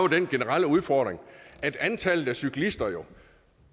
den generelle udfordring at antallet af cyklister